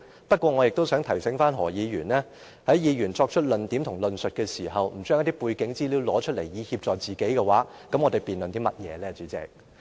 不過，我亦想提醒何議員，在議員作出論點和論述時，不將背景資料拿出來以協助自己，那麼我們又辯論甚麼呢，代理主席？